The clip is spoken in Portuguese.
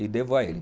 E devo a ele.